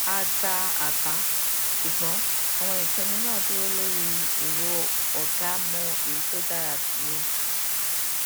a gba àbá ṣùgbọn àwọn ìpinnu náà dúró lórí èrò ọgá mọ èyí tó dára jù lọ